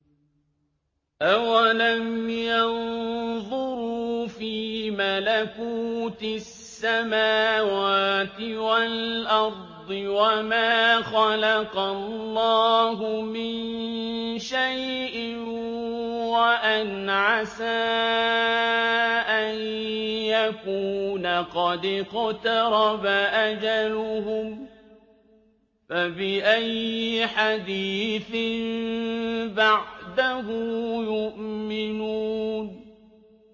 أَوَلَمْ يَنظُرُوا فِي مَلَكُوتِ السَّمَاوَاتِ وَالْأَرْضِ وَمَا خَلَقَ اللَّهُ مِن شَيْءٍ وَأَنْ عَسَىٰ أَن يَكُونَ قَدِ اقْتَرَبَ أَجَلُهُمْ ۖ فَبِأَيِّ حَدِيثٍ بَعْدَهُ يُؤْمِنُونَ